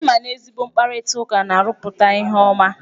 Ị ma na ezigbo mkparịtaụka na-arụpụta ihe ọma?